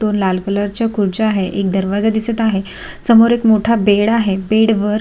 लाल कलरच्या खुर्च्या आहे एक दरवाजा दिसत आहे समोर एक मोठा बेड आहे बेड वर--